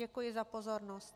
Děkuji za pozornost.